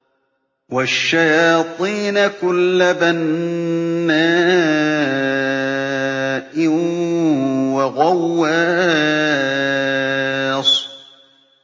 وَالشَّيَاطِينَ كُلَّ بَنَّاءٍ وَغَوَّاصٍ